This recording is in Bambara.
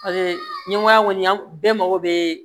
ɲɛngoya kɔni an bɛɛ mago bɛ